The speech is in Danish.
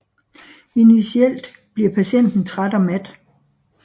Initielt bliver patienten træt og mat